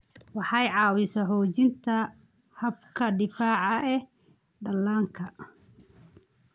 Waxay caawisaa xoojinta habka difaaca ee dhallaanka.